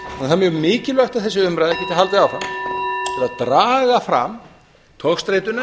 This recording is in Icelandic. er mjög mikilvægt að þessi umræða geti haldið áfram til að draga fram togstreituna